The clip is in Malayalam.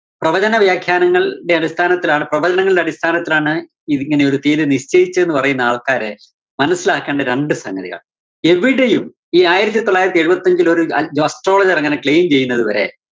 പ്രവചന വ്യാഖ്യാനങ്ങള്‍~ടെ അടിസ്ഥാനത്തിലാണ് പ്രവചനങ്ങളുടെ അടിസ്ഥാനത്തിലാണ് ഇത് ഇങ്ങനെ ഒരു തിയ്യതി നിശ്ചയിച്ചു എന്ന് പറയുന്ന ആള്‍ക്കാര് മനസ്സിലാക്കണ്ട രണ്ടു സംഗതിയാണ്. എവിടെയും ഈ ആയിരത്തി തൊള്ളായിരത്തി എഴുപത്തിഞ്ചിലൊരു astrologer അങ്ങനെ claim ചെയ്യുന്നതു വരെ